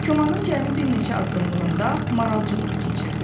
Komanın cəmi bir neçə addımlığında maral cığırı keçirdi.